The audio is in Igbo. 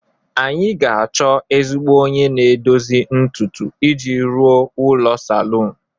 anyị ga-achọ ezigbo onye na-edozi ntutu iji rụọ ụlọ salun